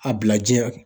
A bila ji hakɛ